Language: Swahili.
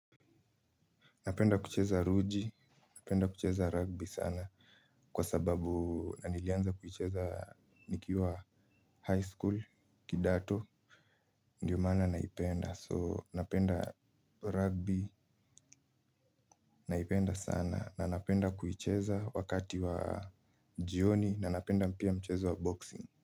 Napenda kucheza ruji, napenda kucheza rugby sana kwa sababu nilianza kuicheza nikiwa high school, kidato, ndiyo maana naipenda. So napenda rugby, naipenda sana na napenda kuicheza wakati wa jioni na napenda pia mchezo wa boxing.